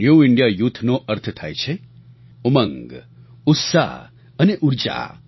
new India youthનો અર્થ થાય છે ઉમંગ ઉત્સાહ અને ઊર્જા